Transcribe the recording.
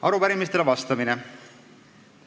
Arupärimistele vastamine.